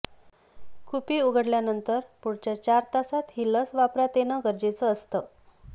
कुपी उघडल्यानंतर पुढच्या चार तासांत ही लस वापरात येणं गरजेचं असतं